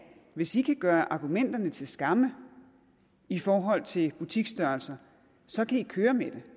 hvis i kan gøre argumenterne til skamme i forhold til butiksstørrelser så kan i køre med